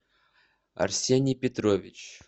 арсений петрович